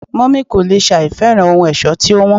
mummy kò lè sẹ àìfẹ́ràn ohun ẹ̀ṣọ́ tí ó wón